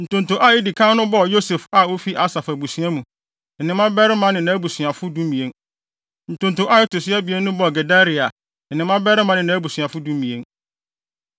Ntonto a edi kan no bɔɔ Yosef a ofi Asaf abusua mu, ne ne mmabarima ne nʼabusuafo (12) Ntonto a ɛto so abien no bɔɔ Gedalia, ne ne mmabarima ne nʼabusuafo (12)